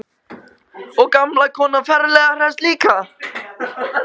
Og gamla konan ferlega hress líka.